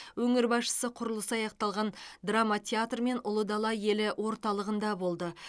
өңір басшысы құрылысы аяқталған драма театр мен ұлы дала елі орталығында болды